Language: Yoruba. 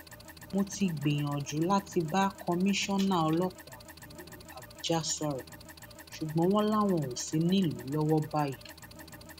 mo ti gbìyànjú láti bá kọmíṣánná ọlọpàá ìlú àbújá sọrọ ṣùgbọn wọn làwọn ò sì nílùú lọwọ báyìí